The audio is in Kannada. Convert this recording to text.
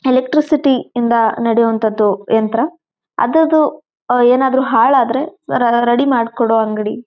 ಎಲೆಕ್ಟ್ರಿಸಿಟಿ ಇಂದ ನಡೆಯುವಂಥದ್ದು ಯಂತ್ರ ಅದ್ರದ್ದು ಹಾಳು ಆದರೆ ರೆಡಿ ಮಾಡ್ಕೊಡೋ ಅಂಗಡಿ.